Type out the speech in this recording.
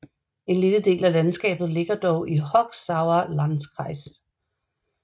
En lille del af landskabet ligger dog i Hochsauerlandkreis